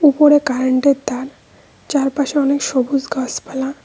উপরে কারেন্ট -এর তার চারপাশে অনেক সবুজ গাসপালা।